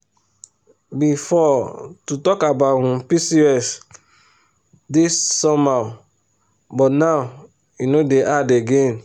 before to talk about um pcos dey somehow but now e no dey hard again.